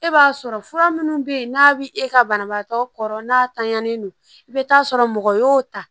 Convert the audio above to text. E b'a sɔrɔ fura minnu bɛ yen n'a bɛ e ka banabaatɔ kɔrɔ n'a tanyani don i bɛ taa sɔrɔ mɔgɔ y'o ta